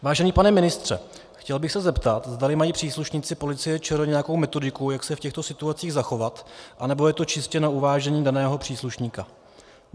Vážený pane ministře, chtěl bych se zeptat, zdali mají příslušníci Policie ČR nějakou metodiku, jak se v těchto situacích zachovat, anebo je to čistě na uvážení daného příslušníka.